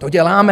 To děláme.